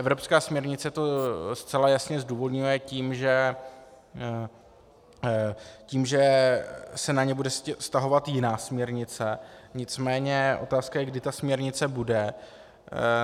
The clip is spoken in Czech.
Evropská směrnice to zcela jasně zdůvodňuje tím, že se na ně bude vztahovat jiná směrnice, nicméně otázka je, kdy ta směrnice bude.